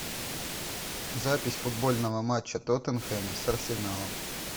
запись футбольного матча тоттенхэма с арсеналом